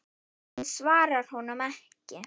Hún svarar honum ekki.